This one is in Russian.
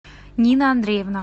нина андреевна